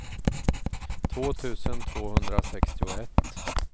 två tusen tvåhundrasextioett